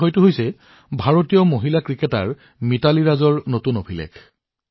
এই বিষয়টো ভাৰতীয় ক্ৰিকেটাৰ মিথালী ৰাজ জীৰ নতুন ৰেকৰ্ড